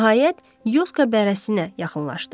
Nəhayət, Yoska bərəsinə yaxınlaşdı.